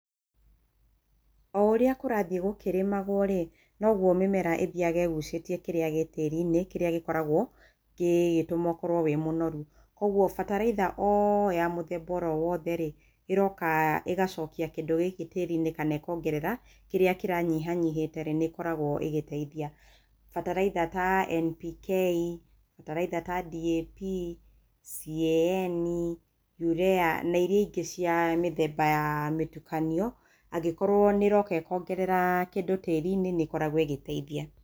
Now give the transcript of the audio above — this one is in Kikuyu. O ũrĩa kũrathiĩ gũkĩrĩmagwo rĩ, no guo mĩmera ĩthiaga ĩgucĩtie kĩrĩa gĩ tĩĩri-inĩ, kĩrĩa gĩkoragwo gĩgĩtũma ũkorwro wĩ mũnoru. Kwoguo bataraitha o ya mũthemba oro wothe rĩ, ĩroka ĩgacokia kĩndũ gĩkĩ tĩĩri-inĩ kana ĩkoongerera kĩrĩa kĩranyihanyihĩte rĩ, nĩ ĩkoragwo ĩgĩteithia. Bataraitha ta NPK, bataraitha ta DAP, CAN, UREA na iria ingĩ cia mĩthemba ya mĩtukanio, angĩkorwo nĩ ĩroka ĩkongerera kĩndũ tĩri-inĩ, nĩ ĩkoragwo ĩgĩteithia.